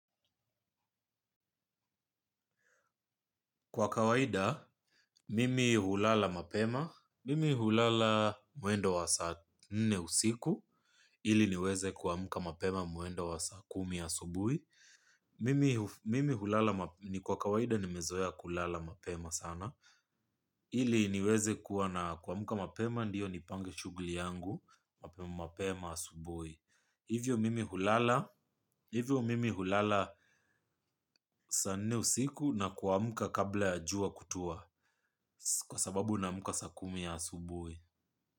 Kwa kawaida, mimi hulala mapema, mimi hulala mwendo wa saa nne usiku, ili niweze kuamuka mapema mwendo wa saa kumi asubui. Mimi hulala ni kwa kawaida nimezoea kulala mapema sana, ili niweze kuwa na kuamuka mapema ndiyo nipange shugli yangu, mapema asubui. Hivyo mimi hulala saa nne usiku na kuamuka kabla ya jua kutua kwa sababu naamuka saa kumi ya asubui.